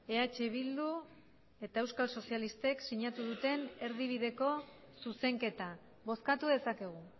eh bildu eta euskal sozialistek sinatu duten erdibideko zuzenketa bozkatu dezakegu